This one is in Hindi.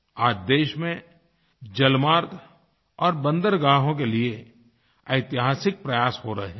आज देश में जलमार्ग और बंदरगाहों के लिए ऐतिहासिक प्रयास हो रहे हैं